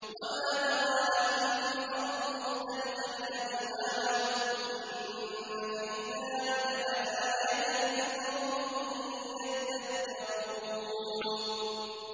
وَمَا ذَرَأَ لَكُمْ فِي الْأَرْضِ مُخْتَلِفًا أَلْوَانُهُ ۗ إِنَّ فِي ذَٰلِكَ لَآيَةً لِّقَوْمٍ يَذَّكَّرُونَ